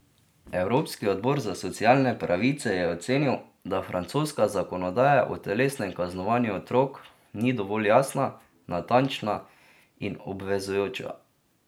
Evropski odbor za socialne pravice je ocenil, da francoska zakonodaja o telesnem kaznovanju otrok ni dovolj jasna, natančna in obvezujoča.